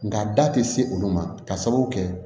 Nga da te se olu ma k'a sababu kɛ